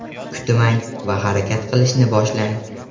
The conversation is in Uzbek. Kutmang va harakat qilishni boshlang!